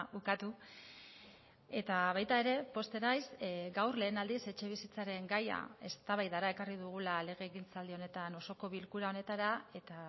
ukatu eta baita ere pozten naiz gaur lehen aldiz etxebizitzaren gaia eztabaidara ekarri dugula legegintzaldi honetan osoko bilkura honetara eta